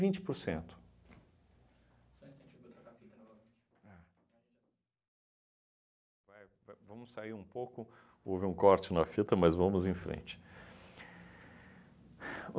vinte por cento. Só um instantinho, vou trocar a fita novamente. Vai va vamos sair um pouco, houve um corte na fita, mas vamos em frente.